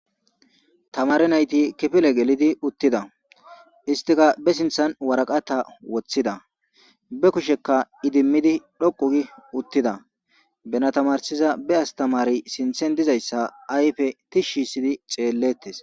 Tamare nayti kifile gelidi uttida istika be sinthan waraqata woththida be kushekka idimmidi dhoqugi uttida benatamarsiza be astamari sinthen dizayssa ayfe tishshi sidi xeellettes.